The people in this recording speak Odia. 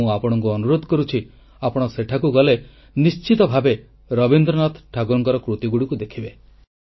ଆଉ ମୁଁ ଆପଣଙ୍କୁ ଅନୁରୋଧ କରୁଛି ଆପଣ ସେଠାକୁ ଗଲେ ନିଶ୍ଚିତ ଭାବେ ରବୀନ୍ଦ୍ରନାଥ ଠାକୁରଙ୍କ କୃତିଗୁଡ଼ିକ ଦେଖିବେ